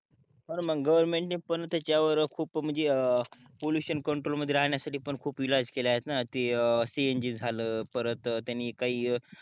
government पण त्याच्यावर खूप म्हणजे पॉल्युशन कंट्रोल मध्ये राहण्यासाठी खूप इलाज केले आहेत ना ते cng जल त त्यांनी काही